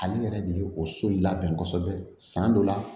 Ale yɛrɛ de ye o so in labɛn kosɛbɛ san dɔ la